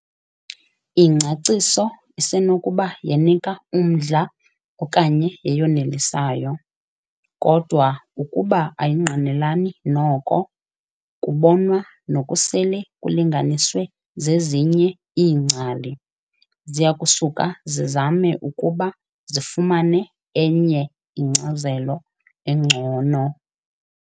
Ingcaciso isenokuba yenika umdla okanye yeyonelisayo, kodwa ukuba ayingqinelani noko kubonwa nokusele kulinganiswe zezinye iingcali, ziyakusuke zizame ukuba zifumane enye inkcazelo engcono